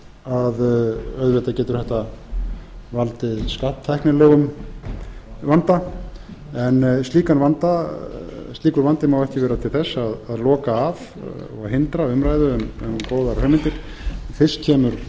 að auðvitað getur þetta valdið skatttæknilegum vanda en slíkur vandi má ekki ver a til þess að loka af eða hindra umræðu um góðar hugmyndir fyrst kemur